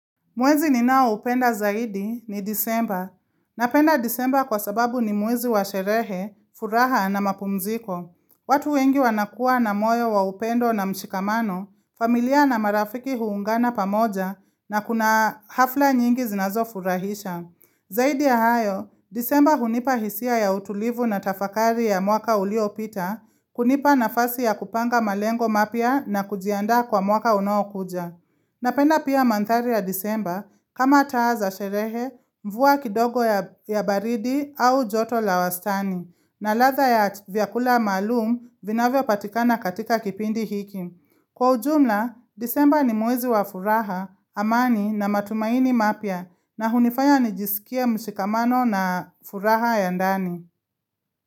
Mwezi ninao upenda zaidi ni Desemba. Napenda Desemba kwa sababu ni mwezi wa sherehe, furaha na mapumziko. Watu wengi wanakuwa na moyo wa upendo na mshikamano, familia na marafiki huungana pamoja na kuna hafla nyingi zinazofurahisha. Zaidi ya hayo, disemba hunipa hisia ya utulivu na tafakari ya mwaka uliopita, kunipa nafasi ya kupanga malengo mapya na kujiandaa kwa mwaka unaokuja. Napenda pia mandhari ya Desemba kama taa za sherehe mvua kidogo ya baridi au joto la wastani na ladha ya vyakula maalum vinavyopatikana katika kipindi hiki. Kwa ujumla, Desemba ni mwezi wa furaha, amani na matumaini mapya na hunifanya nijisikia mshikamano na furaha ya ndani.